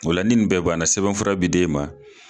Ola nin bɛɛ banana sɛbɛnfura be de ma